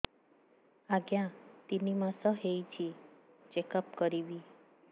ଆଜ୍ଞା ତିନି ମାସ ହେଇଛି ଚେକ ଅପ କରିବି